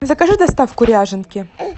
закажи доставку ряженки